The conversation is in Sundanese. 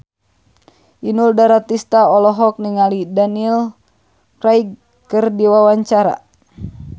Inul Daratista olohok ningali Daniel Craig keur diwawancara